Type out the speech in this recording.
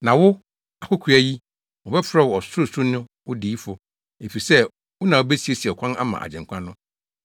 “Na wo, akokoaa yi, wɔbɛfrɛ wo Ɔsorosoroni no Odiyifo efisɛ wo na wubesiesie ɔkwan ama Agyenkwa no,